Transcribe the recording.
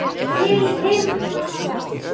Til himna!